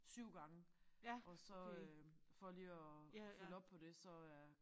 7 gange og så øh for lige at følge op på det så er